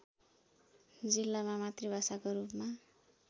जिल्लामा मातृभाषाको रूपमा